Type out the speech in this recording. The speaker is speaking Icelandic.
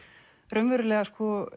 raunverulega